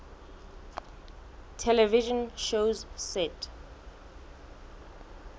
television shows set